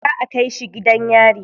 Za a kai shi gidan yari.